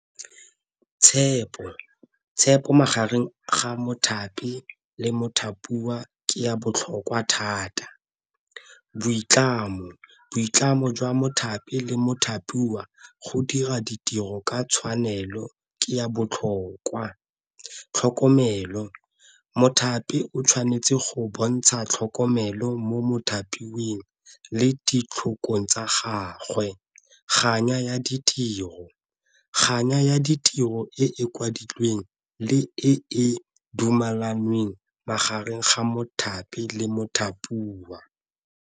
Tshepo, tshepo magareng ga mothapi le mothapiwa ke ya botlhokwa thata. Boitlamo, boitlamo jwa mothapi le mothapiwa go dira ditiro ka tshwanelo ke ya botlhokwa. Tlhokomelo, mothapi o tshwanetse go bontsha tlhokomelo mo mothapiweng le ditlhokong tsa gagwe. Kganya ya ditiro, kganya ya ditiro e kwadilweng le e dumelanweng magareng ga mothapi le mothapiwa.